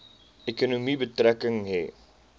ekonomie betrekking hê